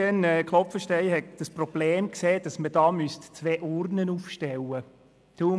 Etienne Klopfenstein hält es für ein Problem, dass man zwei Urnen aufstellen müsste.